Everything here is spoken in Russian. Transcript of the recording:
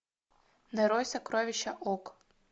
нарой сокровища ок